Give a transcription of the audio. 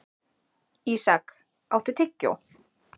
Ísak, áttu tyggjó?